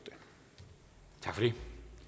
det